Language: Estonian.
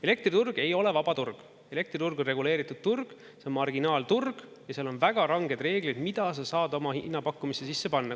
Elektriturg ei ole vaba turg, elektriturg on reguleeritud turg, see marginaalturg ja seal on väga ranged reeglid, mida sa saad oma hinnapakkumiste sisse panna.